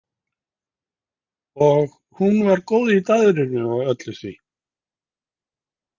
Og hún var góð í daðrinu og öllu því.